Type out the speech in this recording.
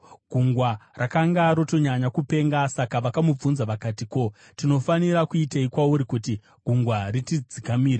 Gungwa rakanga rotonyanya kupenga. Saka vakamubvunza vakati, “Ko, tinofanira kuitei kwauri kuti gungwa ritidzikamire?”